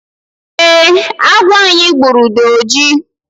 eeh, agwọ anyị gburu dị oji